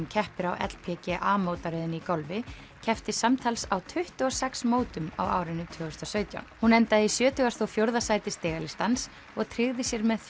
keppir á LPGA mótaröðinni í golfi en keppti samtals á tuttugu og sex mótum á árinu tvö þúsund og sautján hún endaði í sjötugasta og fjórða sæti stigalistans og tryggði sér með